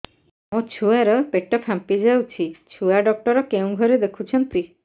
ମୋ ଛୁଆ ର ପେଟ ଫାମ୍ପି ଯାଉଛି ଛୁଆ ଡକ୍ଟର କେଉଁ ଘରେ ଦେଖୁ ଛନ୍ତି